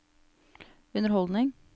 underholdning